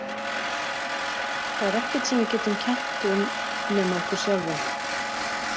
Það er ekkert sem við getum kennt um nema okkur sjálfum.